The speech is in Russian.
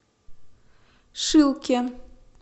шилке